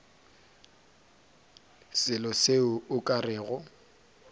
selo seo o ka rego